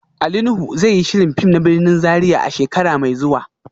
Ali Nuhu zai yi shirin fim na birnin Zaria a shekara mai zuwa